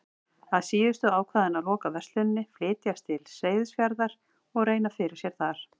Að síðustu ákvað hann að loka versluninni, flytjast til Seyðisfjarðar og reyna fyrir sér þar.